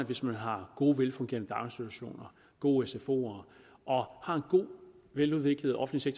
hvis man har gode velfungerende daginstitutioner gode sfoer og har en god veludviklet offentlig